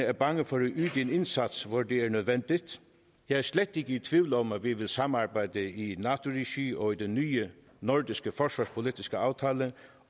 er bange for at yde en indsats hvor det er nødvendigt jeg er slet ikke tvivl om at vi vil samarbejde i regi af nato og den nye nordiske forsvarspolitiske aftale